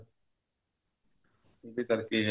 ਉਹਦੇ ਕਰਕੇ